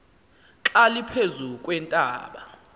xa liphezu kweentaba